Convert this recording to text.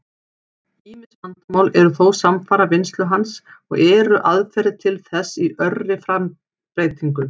Ýmis vandamál eru þó samfara vinnslu hans, og eru aðferðir til þess í örri breytingu.